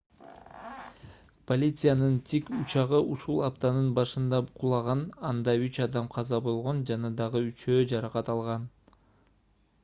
полициянын тик учагы ушул аптанын башында кулаган анда үч адам каза болгон жана дагы үчөө жаракат алган